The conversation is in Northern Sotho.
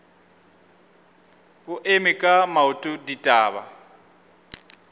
o eme ka maoto ditaba